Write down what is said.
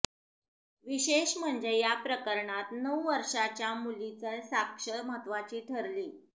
विशेष म्हणजे या प्रकरणात नऊ वर्षांच्या मुलीचा साक्ष महत्त्वाची ठरली